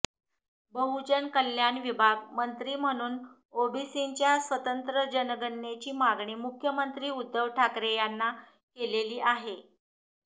बहुजन कल्याण विभाग मंत्री म्हणून ओबीसींच्या स्वतंत्र जनगणनेची मागणी मुख्यमंत्री उद्धव ठाकरे यांना केलेली आहे